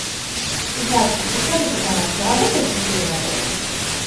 здравствуйте подскажите пожалуйста работает ли тир в отеле